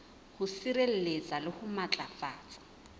ho sireletsa le ho matlafatsa